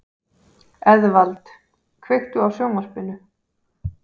Eðvald, kveiktu á sjónvarpinu.